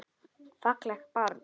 Fallegt barn.